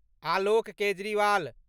Alok Kejriwal